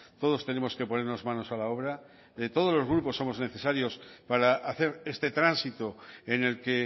todos tenemos que ponernos manos a la obra todos los grupos somos necesarios para hacer este tránsito en el que